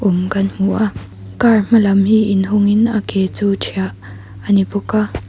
in kan hmu a car hmalam hi inhawngin a ke chu ṭhiah a ni bawk a.